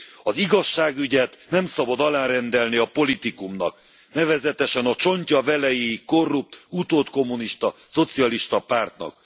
Az igazságügyet nem szabad alárendelni a politikumnak, nevezetesen a csontja velejéig korrupt, utódkommunista szocialista pártnak!